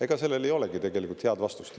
Ega sellele ei olegi tegelikult head vastust.